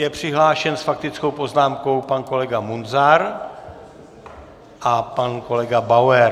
Je přihlášen s faktickou poznámkou pan kolega Munzar a pan kolega Bauer.